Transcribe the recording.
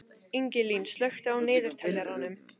Ingilín, slökktu á niðurteljaranum.